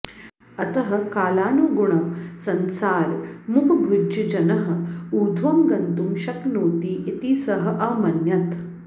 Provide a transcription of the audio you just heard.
अतः कालानुगुणं संसारमुपभुज्य जनः ऊर्ध्वं गन्तुं शक्नोति इति सः अमन्यत